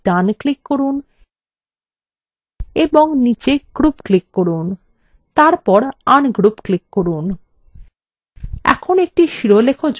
এখন একটি label উপর ডান click করুন এবং নীচে group click করুন এবং তারপর ungroup click করুন